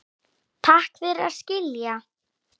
Takk fyrir að skilja.